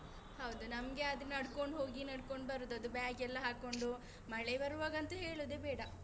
ಹೌದು ನಮ್ಗೆ ಆದ್ರೆ ನಡ್ಕೊಂಡು ಹೋಗಿ ನಡ್ಕೊಂಡು ಬರುದು ಅದು bag ಎಲ್ಲ ಹಾಕೊಂಡು ಮಳೆ ಬರುವಾಗ ಅಂತೂ ಹೇಳುದೇ ಬೇಡ.